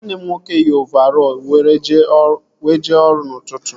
Nwanne m nwoke yi ovarọl were jee ọrụ n'ụtụtụ